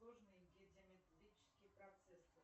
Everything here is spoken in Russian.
сложные геометрические процессы